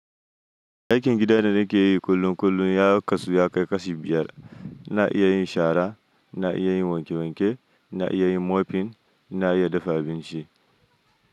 Aikin gida da nake yi kullum kullum ya kasu ya kai kashi biyar. Na iya yin shara, na iya yin wanke wanke, na iya yin mopping, na iya dafa abinci.